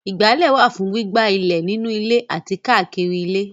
Ìgbálẹ̀ wà fún gbígbá ilẹ̀ nínú ilé àti káàkiri ilé.